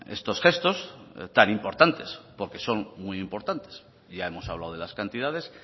estos gestos tan importantes porque son muy importantes y ya hemos hablado de las cantidades